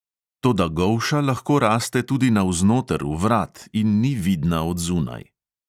Toda golša lahko raste tudi navznoter v vrat in ni vidna od zunaj.